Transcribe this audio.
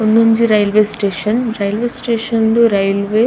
ಉಂದೊಂಜಿ railway station railway station ಡು railway --